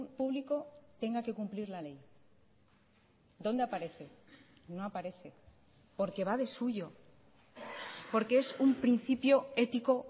público tenga que cumplir la ley dónde aparece no aparece porque va de suyo porque es un principio ético